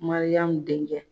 Mariyamu denkɛ.